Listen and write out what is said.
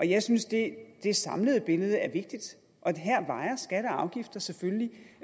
jeg synes det det samlede billede er vigtigt og her vejer skatter og afgifter selvfølgelig